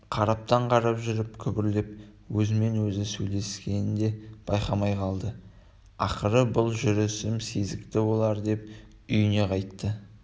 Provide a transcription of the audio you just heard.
қараптан-қарап жүріп күбірлеп өзімен-өзі сөйлескенін де байқамай қалды ақыры бұл жүрісім сезікті болар деп үйіне қайтты